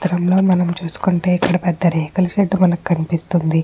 మనం చూసుకుంటే చిత్గ్రం లో ఒక పెద్ద రేకుల షెడ్ కనిపెస్తునది.